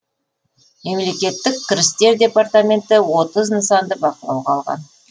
мемлекеттік кірістер департаменті отыз нысанды бақылауға алған